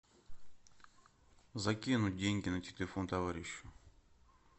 закинуть деньги на телефон товарищу